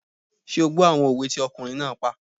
Ṣé o gbọ́ àwọn òwe tí ọkùnrin náà pa?